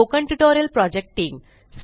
spoken tutorial project team